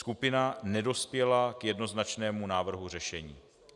Skupina nedospěla k jednoznačnému návrhu řešení.